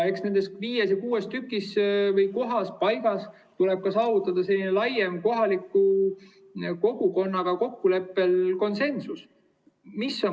Eks nendes viies või kuues kohas, paigas, tuleb saavutada laiem konsensus, kokkulepe kohaliku kogukonnaga.